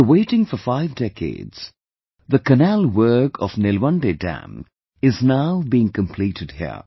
After waiting for five decades, the canal work of Nilwande Dam is now being completed here